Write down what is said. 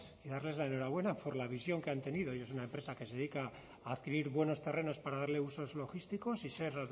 y darles la enhorabuena por la visión que han tenido y es una empresa que se dedica a adquirir buenos terrenos para darle usos logísticos y ser